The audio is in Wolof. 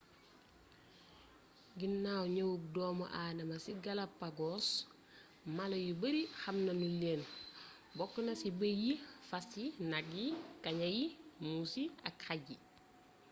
ginnaw ñëwuk doomu adama ci galapagos mala yu bari xamnañu leen bokkna ci bey yi fas yi nak yi kaña yi muus yi ak xaj yi